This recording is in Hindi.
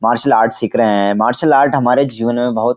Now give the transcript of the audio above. मार्सल आर्ट सिख रहे हैं मार्सल आर्ट हमारे जीवन में बहोत --